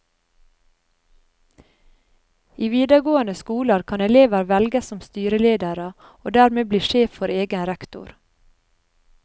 I videregående skoler kan elever velges som styreledere, og dermed bli sjef for egen rektor.